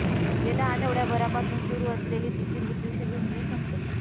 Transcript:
गेल्या आठवड्याभरापासून सुरु असलेली तिची मृत्यूशी झुंज संपली